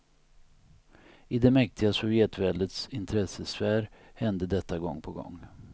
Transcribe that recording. I det mäktiga sovjetväldets intressesfär hände detta gång på gång.